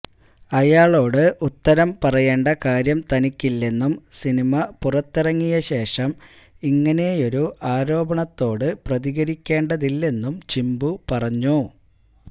അയാളോട് ഉത്തരം പറയേണ്ട കാര്യം തനിക്കില്ലെന്നും സിനിമ പുറത്തിറങ്ങിയ ശേഷം ഇങ്ങനെയൊരു ആരോപണത്തോട് പ്രതികരിക്കേണ്ടതില്ലെന്നും ചിമ്പു പറഞ്ഞു